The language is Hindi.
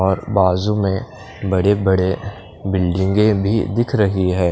और बाज़ू में बड़े बड़े बिल्डिंगे भी दिख रही है।